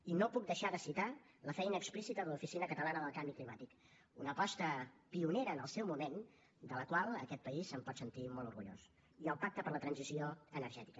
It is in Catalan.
i no puc deixar de citar la feina explícita de l’oficina catalana del canvi climàtic una aposta pionera en el seu moment de la qual aquest país es pot sentir molt orgullós i el pacte per a la transició energètica